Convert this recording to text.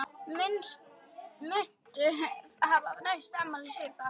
Muntu hafa næsta afmæli svipað?